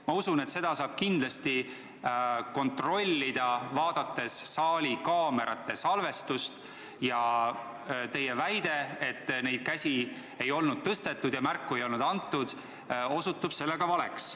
Ma usun, et seda saab kontrollida, vaadates saali kaamerate salvestust, ning teie väide, et käsi ei olnud tõstetud ja märku ei olnud antud, osutub seega valeks.